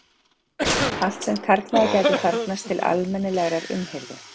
Allt sem karlmaður gæti þarfnast til almennilegrar umhirðu.